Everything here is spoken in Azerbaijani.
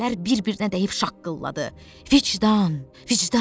Ləpələr bir-birinə dəyib şaqqıldadı: "Vicdan, vicdan!"